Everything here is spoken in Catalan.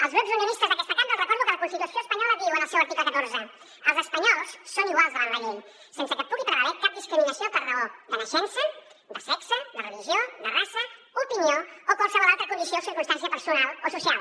als grups unionistes d’aquesta cambra els recordo que la constitució espanyola diu en el seu article catorze els espanyols són iguals davant la llei sense que pugui prevaler cap discriminació per raó de naixença raça sexe religió opinió o qualsevol altra condició o circumstància personal o social